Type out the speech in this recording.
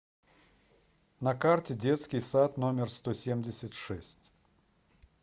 на карте детский сад номер сто семьдесят шесть